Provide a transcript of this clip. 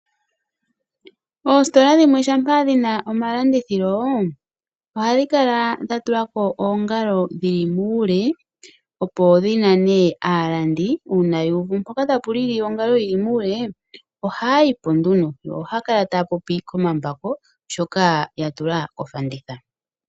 Oositola dhimwe shampa dhina omalandithilo ohadhi kala dha tulako oongalo dhili muule opo dhi nane aalandi uuna yu uvi mpoka tapu lili ongalo yili muule ohaya yipo yo ohaya kala taya popi komambako shoka ya tula kofanditha.